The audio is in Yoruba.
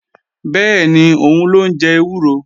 Bẹ́ẹ̀ni, òun ló ń jẹ ewúro